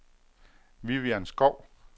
Vivian Schou